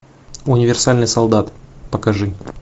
универсальный солдат покажи